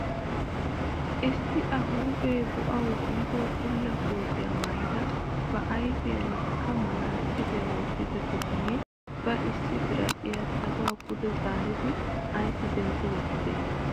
Issi a huuphphee bo"awu biido bulla kootiyaa maayida ba ayfiyaanikka manaatsiriyaa wottida bitanee ba issi biradhiyaa saluwaa pude zaaridi aysi dentti wottidee?